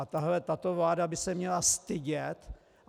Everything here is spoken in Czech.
A tahle vláda by se měla stydět!